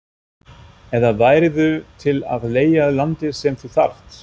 eða værirðu til í að leigja landið sem þú þarft?